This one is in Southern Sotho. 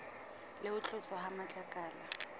le ho tloswa ha matlakala